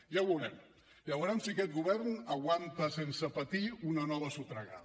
ja ho veurem ja veurem si aquest govern aguanta sense patir una nova sotragada